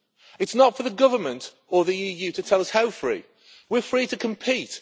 It's not for the government or the EU to tell us how free. We're free to compete